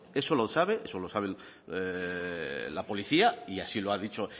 eso lo sabe eso lo sabe la policía y así lo ha dicho